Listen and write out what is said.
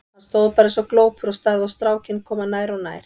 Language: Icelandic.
Hann stóð bara eins og glópur og starði á strákinn koma nær og nær.